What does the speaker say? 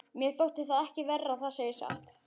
Mér þótti það ekki verra, það segi ég satt.